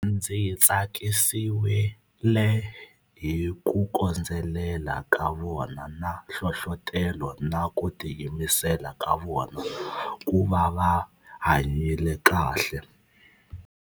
Ndzi tsakisiwile hi ku kondzelela ka vona na hlohlotelo na ku tiyimisela ka vona ku va va hanyile kahle.